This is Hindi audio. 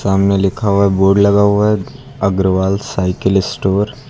सामने लिखा हुआ है बोर्ड लगा हुआ है अग्रवाल साइकिल स्टोर ।